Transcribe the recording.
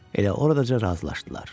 Elə oradaca razılaşdılar.